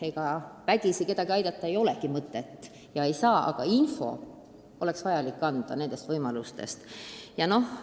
Ega vägisi kedagi aidata ei ole mõtet ja seda ei saagi teha, aga infot pakutavatest võimalustest võiks siiski anda.